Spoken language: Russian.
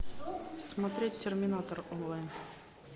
смотреть терминатор онлайн